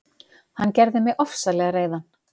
Hann gerði mig ofsalega reiðan.